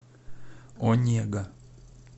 онега